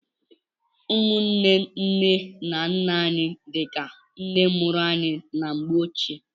Ụmụnne nne na nna anyị dịka nne mụrụ anyị na mgbe ochie.